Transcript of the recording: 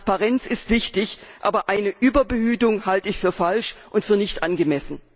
Transparenz ist wichtig, aber eine Überbehütung halte ich für falsch und nicht angemessen!